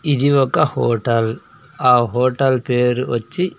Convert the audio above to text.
ఇది ఒక హోటల్ ఆ హోటల్ పేరు వచ్చి--